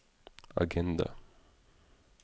agenda